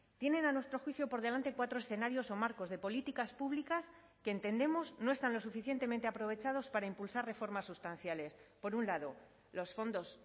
tienen a nuestro juicio por delante cuatro escenarios o marcos de políticas públicas que entendemos no están lo suficientemente aprovechados para impulsar reformas sustanciales por un lado los fondos